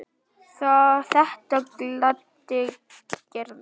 Þetta gladdi Gerði.